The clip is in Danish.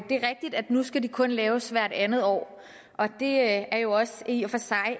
nu skal de kun laves hvert andet år og det er jo også i og for sig